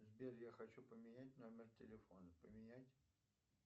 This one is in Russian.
сбер я хочу поменять номер телефона поменять